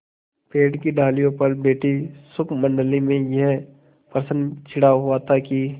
पेड़ की डालियों पर बैठी शुकमंडली में यह प्रश्न छिड़ा हुआ था कि